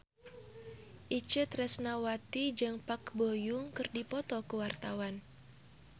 Itje Tresnawati jeung Park Bo Yung keur dipoto ku wartawan